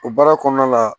O baara kɔnɔna la